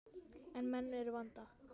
En menn eru í vanda.